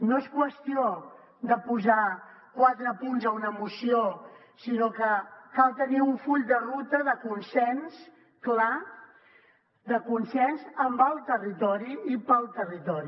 no és qüestió de posar quatre punts a una moció sinó que cal tenir un full de ruta de consens clar de consens en el territori i per al territori